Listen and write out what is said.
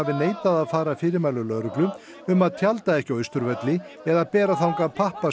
neitað að fara að fyrirmælum lögreglu um að tjalda ekki á Austurvelli eða bera þangað